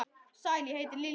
Sæl, ég heiti Lilla